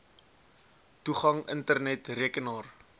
toegang internet rekenaar